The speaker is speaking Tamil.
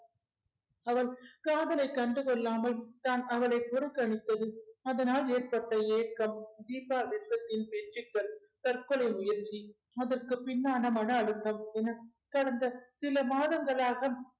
அவன் காதல கண்டு கொள்ளாமல் தான் அவளை புறக்கணித்தது அதனால் ஏற்பட்ட ஏக்கம் தீபா விருப்பத்தின் பேச்சுக்கள் தற்கொலை முயற்சி அதற்கு பின்னான மன அழுத்தம் என கடந்த சில மாதங்களாக